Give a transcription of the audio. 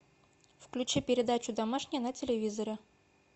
включи передачу домашний на телевизоре